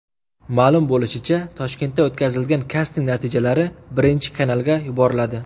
Ma’lum bo‘lishicha, Toshkentda o‘tkazilgan kasting natijalari Birinchi kanalga yuboriladi.